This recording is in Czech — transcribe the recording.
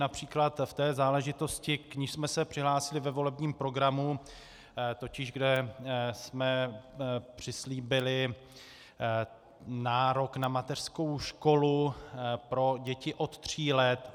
Například v té záležitosti, k níž jsme se přihlásili ve volebním programu, totiž že jsme přislíbili nárok na mateřskou školu pro děti od tří let.